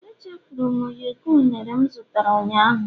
Echefuru m ụyọkọ unere m zụtara ụnyaahụ